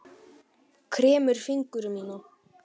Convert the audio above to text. Kremur fingur mína.